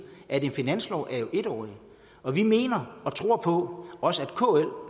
at en finanslov er en årig og vi mener og tror på at også kl